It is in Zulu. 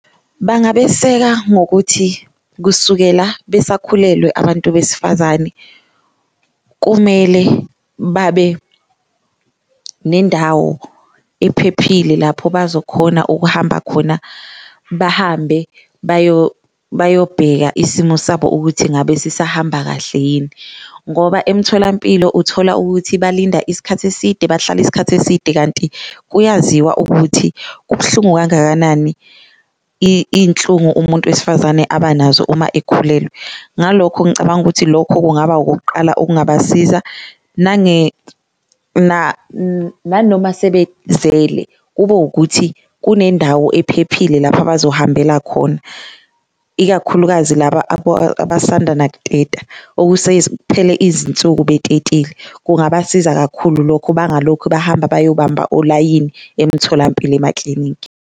Bangabeseka ngokuthi kusukela besakhulelwe abantu besifazane kumele babe nendawo ephephile lapho bazokhona ukuhamba khona, bahambe bayobheka isimo sabo ukuthi ngabe sisahamba kahle yini. Ngoba emtholampilo uthola ukuthi balinda iskhathi eside, bahlala iskhathi eside kanti kuyaziwa ukuthi kubuhlungu kangakanani inhlungu umuntu wesifazane abanazo uma ekhulelwe, ngalokho ngicabanga ukuthi lokho kungaba okokuqala okungabasiza. Nanoma sebezele kube ukuthi kunendawo ephephile lapho abazohambela khona, ikakhulukazi laba abasanda nakuteta, izinsuku betetile, kungabasiza kakhulu lokho bangalokhu bahamba bayobamba olayini emtholampilo emaklinikhi.